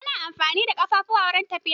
Ana amfani da ƙafafuwa wurin tafiya.